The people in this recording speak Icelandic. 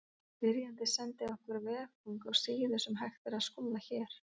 Spyrjandi sendi okkur veffang á síðu sem hægt er að skoða hér.